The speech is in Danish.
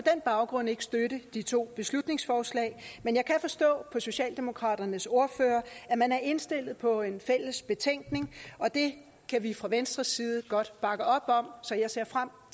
baggrund ikke støtte de to beslutningsforslag men jeg kan forstå på socialdemokraternes ordfører at man er indstillet på en fælles betænkning og det kan vi fra venstres side godt bakke op om så jeg ser frem